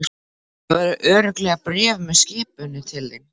Það verður örugglega bréf með skipinu til þín.